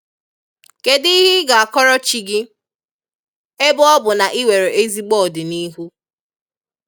Kedụ ihe ị ga-akọrọ chi gị, ebe ọ bụ na i nwere ezigbo ọdịnihu.